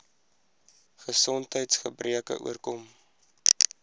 gesondheids gebreke oorkom